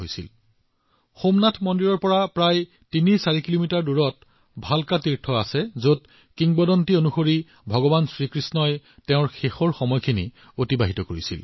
ভালকা তীৰ্থ সোমনাথ মন্দিৰৰ পৰা ৩৪ কিলোমিটাৰ দূৰত্বত অৱস্থিত এই ভালকা তীৰ্থযাত্ৰাত ভগৱান কৃষ্ণই তেওঁৰ অন্তিম মুহূৰ্তবোৰ পৃথিৱীত অতিবাহিত কৰিছিল